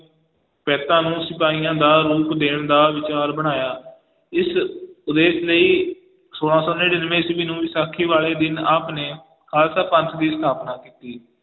ਨੂੰ ਸਿਪਾਹੀਆਂ ਦਾ ਰੂਪ ਦੇਣ ਦਾ ਵਿਚਾਰ ਬਣਾਇਆ, ਇਸ ਉਦੇਸ਼ ਲਈ ਸੋਲਾ ਸੌ ਨੜ੍ਹਿਨਵੇਂ ਈਸਵੀ ਨੂੰ ਵਿਸਾਖੀ ਵਾਲੇ ਦਿਨ ਆਪ ਨੇ ਖਾਲਸਾ ਪੰਥ ਦੀ ਸਥਾਪਨਾ ਕੀਤੀ